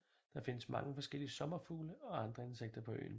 Der findes mange forskellige sommerfugle og andre insekter på øen